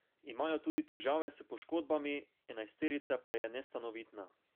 Imajo tudi težave s poškodbami, enajsterica pa je nestanovitna.